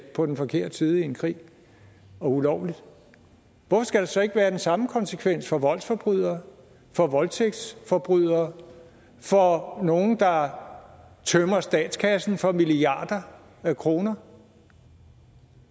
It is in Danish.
på den forkerte side i en krig ulovligt hvorfor skal der så ikke være den samme konsekvens for voldsforbrydere for voldtægtsforbrydere for nogle der tømmer statskassen for milliarder af kroner